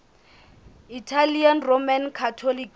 italian roman catholics